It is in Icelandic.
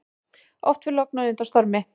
Oft fer logn á undan stormi.